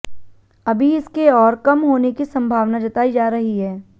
अभी इसके और कम होने की संभावना जताई जा रही है